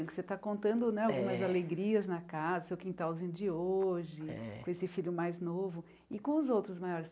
Porque você está contando né é algumas alegrias na casa, seu quintalzinho de hoje é, com esse filho mais novo e com os outros maiores.